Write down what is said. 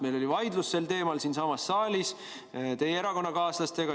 Meil oli vaidlus sel teemal siinsamas saalis teie erakonnakaaslastega.